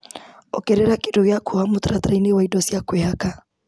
Ongerera kĩndũ gĩa kuoha mũtaratara-inĩ wa indo cia kwĩhaka .